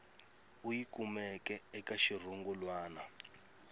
u yi kumeke eka xirungulwana